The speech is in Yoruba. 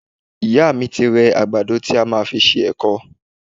Ìyá mi ti rẹ àgbàdo tí a fẹ́ fi ṣe èkọ